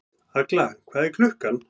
Agla, hvað er klukkan?